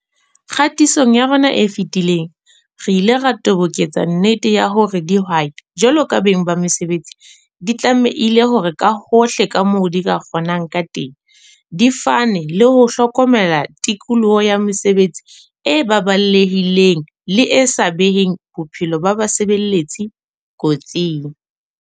Kgatisong ya rona e fetileng, re ile ra toboketsa nnete ya hore dihwai jwalo ka beng ba mesebetsi di tlamehile hore ka hohle ka moo di kgonang ka teng, di fane le ho hlokomela tikoloho ya mosebetsi e baballehileng le e sa beheng bophelo ba basebeletsi kotsing.